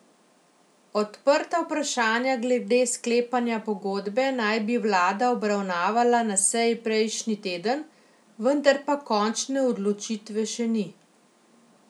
Odprta vprašanja glede sklepanja pogodbe naj bi vlada obravnavala na seji prejšnji teden, vendar pa končne odločitve še ni.